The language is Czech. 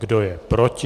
Kdo je proti?